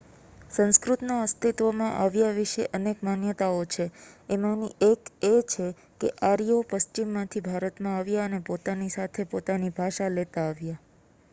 સંસ્કૃતના અસ્તિત્વમાં આવ્યા વિશે અનેક માન્યતાઓ છે એમાંની એક છે કે આર્યો પશ્ચિમમાંથી ભારતમાં આવ્યા અને પોતાની સાથે પોતાની ભાષા લેતા આવ્યા